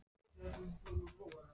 Hálkublettir á þjóðvegum